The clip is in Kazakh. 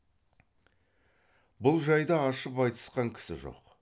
бұл жайды ашып айтысқан кісі жоқ